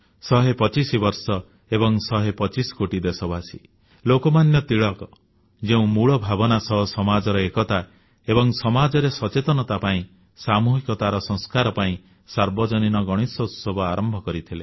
ଶହେ ପଚିଶ ବର୍ଷ ଏବଂ ଶହେ ପଚିଶ କୋଟି ଦେଶବାସୀ ଲୋକମାନ୍ୟ ତିଳକ ଯେଉଁ ମୂଳ ଭାବନା ସହ ସମାଜର ଏକତା ଏବଂ ସମାଜରେ ସଚେତନତା ପାଇଁ ସାମୂହିକତାର ସଂସ୍କାର ପାଇଁ ସାର୍ବଜନୀନ ଗଣେଶୋତ୍ସବ ଆରମ୍ଭ କରିଥିଲେ